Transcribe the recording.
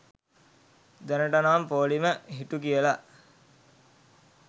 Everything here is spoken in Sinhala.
දැනටනම් පෝළිම හිටු කියලා.